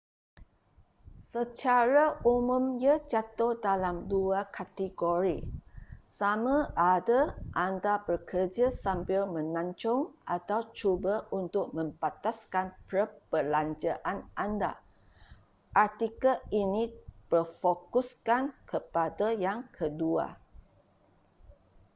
secara umum ia jatuh dalam dua kategori sama ada anda bekerja sambil melancong atau cuba untuk membataskan perbelanjaan anda artikel ini berfokuskan kepada yang kedua